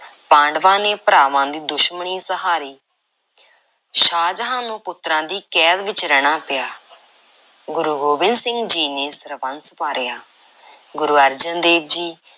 ਪਾਂਡਵਾਂ ਨੇ ਭਰਾਵਾਂ ਦੀ ਦੁਸ਼ਮਣੀ ਸਹਾਰੀ, ਸ਼ਾਹਜਹਾਂ ਨੂੰ ਪੁੱਤਰਾਂ ਦੀ ਕੈਦ ਵਿੱਚ ਰਹਿਣਾ ਪਿਆ। ਗੁਰੂ ਗੋਬਿੰਦ ਸਿੰਘ ਜੀ ਨੇ ਸਰਬੰਸ ਵਾਰਿਆ, ਗੁਰੂ ਅਰਜਨ ਦੇਵ ਜੀ